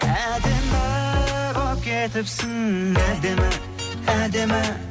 әдемі болып кетіпсің әдемі әдемі